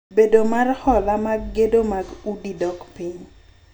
Bedo mar hola mag gedo mag udi dok piny.